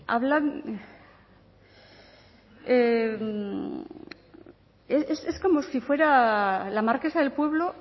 habla es como si fuera la marquesa del pueblo